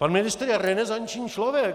Pan ministr je renesanční člověk.